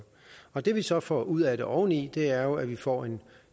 og det vi så får ud af det oveni er jo at vi får en